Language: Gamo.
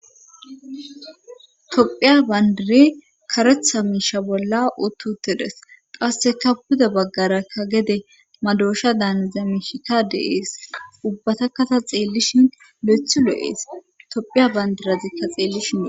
Tophiya bandire karetha miisha bolla ututte des qaasseka puda baggarakka gede madoosha daanzamishika deees ubbatakata xeellishin le7ethu lo7ees tophiya bandirazikka xeellishino.